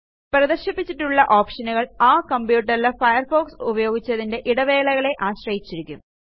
പ്രദർശിപ്പിച്ചിട്ടുള്ള ഓപ്ഷനുകൾ ആ computerലെ ഫയർഫോക്സ് ഉപയോഗിച്ചതിന്റെ ഇടവേളകളെ ആശ്രയിച്ചിരിക്കും